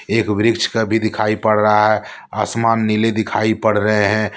एक वृक्ष का भी दिखाई पड़ रहा है। आसमान नीले दिखाई पड़ रहे हैं।